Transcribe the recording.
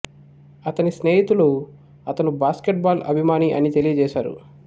అతని స్నేహితులు అతను బాస్కెట్ బాల్ అభిమాని అని తెలియజేసారు